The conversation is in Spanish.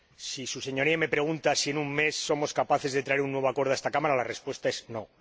Si su Señoría me pregunta si en un mes somos capaces de traer un nuevo acuerdo a esta Cámara, la respuesta es no.